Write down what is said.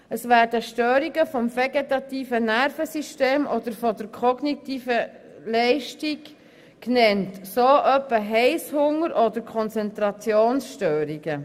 So werden Störungen des vegetativen Nervensystems oder der kognitiven Leistung genannt, wie Heisshunger oder Konzentrationsstörungen.